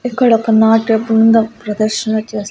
ఇక్కడొక నాట్య బృందం ప్రదర్శనలు చేస్--